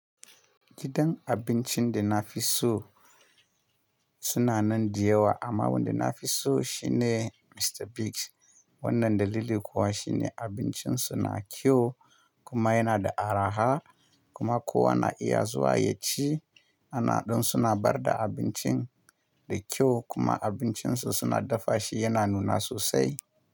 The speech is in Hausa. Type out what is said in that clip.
Gidan abincin da na fi so sunanan diyawa amma wanda na fi so shi ne Mr Biggs. Wannan dalili kuwa shi ne abincin su na kyau kuma yana da araha kuma kowa na iya zuwa ya ci. Anandin suna barba abincin da kyau kuma abincin su suna dafa shi yana nuna sosai.